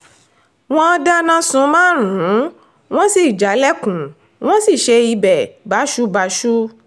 wọ́n dáná sun márùn-ún wọ́n sì jálẹ̀kùn wọ́n sì ṣe ibẹ̀ báṣubàṣu